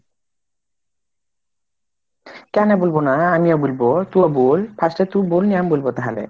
কেনে বুলব না ? আমি ও বুলব, তুই ও বুল first এ তুই বল আমি বলব তাহলে।